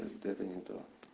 это не то